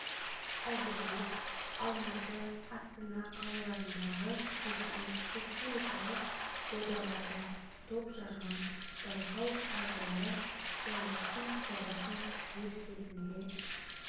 әзірлеп алматы астана қалаларындағы өткен республикалық додаларда топ жарған байқау қазылары қуаныштың жобасын дер кезінде